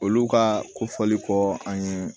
Olu ka kofɔli kɔ an ye